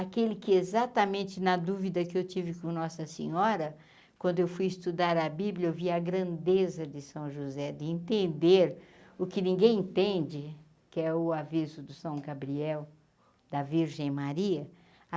Aquele que, exatamente na dúvida que eu tive com a nossa senhora, quando eu fui estudar a Bíblia, eu vi a grandeza de São José, de entender o que ninguém entende, que é o aviso do São Gabriel, da Virgem Maria.